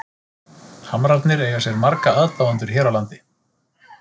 Hamrarnir eiga sér marga aðdáendur hér á landi.